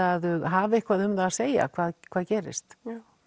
að þau hafi eitthvað um það að segja hvað hvað gerist